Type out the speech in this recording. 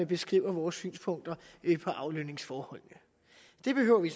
beskriver vores synspunkter på aflønningsforholdene det behøver vi